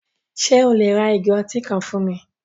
Ṣe o le ra igò ọ̀tí kan fún mi?